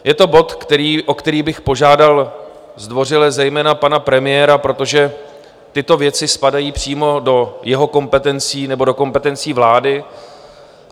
Je to bod, o který bych požádal zdvořile zejména pana premiéra, protože tyto věci spadají přímo do jeho kompetencí nebo do kompetencí vlády.